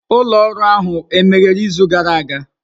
Ụlọ ọrụ ahụ emeghere izu gara aga?